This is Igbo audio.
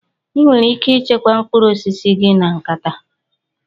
Ị nwere ike ịchekwa mkpụrụ osisi gị na nkata.